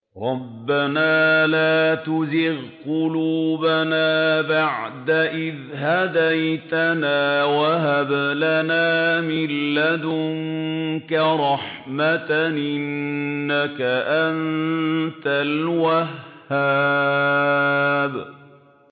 رَبَّنَا لَا تُزِغْ قُلُوبَنَا بَعْدَ إِذْ هَدَيْتَنَا وَهَبْ لَنَا مِن لَّدُنكَ رَحْمَةً ۚ إِنَّكَ أَنتَ الْوَهَّابُ